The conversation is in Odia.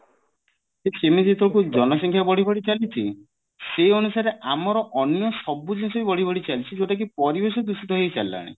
ଜନ ସଂଖ୍ୟା ବଢି ବଢି ଚାଲିଛି ସେଇ ଅନୁସାରେ ଆମର ଅନ୍ୟ ସବୁ କିଛି ବଢି ବଢି ଚାଲିଛି ଯୋଉଟା କି ପରିବେଶ ଦୂଷିତ ହେଇ ଚାଲିଲାଣି